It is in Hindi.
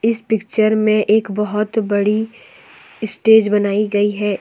इस पिक्चर में एक बहुत बड़ी स्टेज बनाई गई है ।